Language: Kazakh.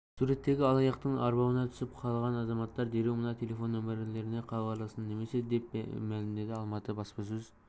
суреттегі алаяқтың арбауына түсіп қалған азаматтар дереу мына телефон нөмірлеріне хабарлассын немесе деп мәлімдеді алматы баспасөз